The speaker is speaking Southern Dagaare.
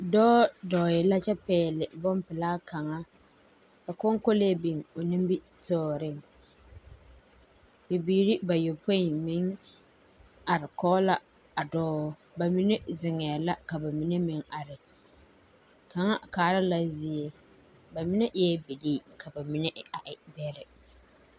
Dɔɔ dɔɔ yɛ la kyɛ pɛgle boŋ pelaa kaŋa, ka konkolee biŋ o nimitɔɔreŋ, bibiiri bayopoi meŋ are kɔge la a dɔɔ, bamine zeŋɛɛ la ka bamine meŋ are, kaŋa kaara la zie, bamine eɛ bilii ka bamine a e bɛrɛ. 13430